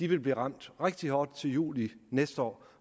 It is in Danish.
vil blive ramt rigtig hårdt til juli næste år